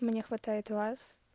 мне хватает вас